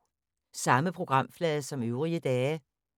Samme programflade som øvrige dage